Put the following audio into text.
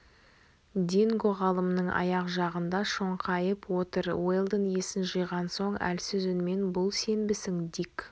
динго ғалымның аяқ жағында шоңқайып отыр уэлдон есін жиған соң әлсіз үнмен бұл сенбісің дик